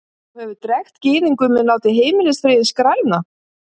Þú hefur drekkt Gyðingnum en látið Heimilisfriðinn skrælna!